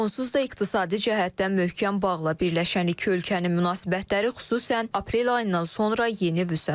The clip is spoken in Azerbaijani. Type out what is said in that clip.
Onsuz da iqtisadi cəhətdən möhkəm bağla birləşən iki ölkənin münasibətləri xüsusən aprel ayından sonra yeni vüsət alıb.